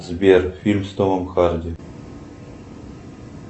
сбер фильм с томом харди